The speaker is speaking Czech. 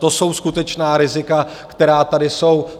To jsou skutečná rizika, která tady jsou.